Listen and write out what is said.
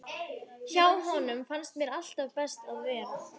Hjá honum fannst mér alltaf best að vera.